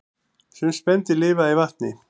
Sum spendýr lifa í vatni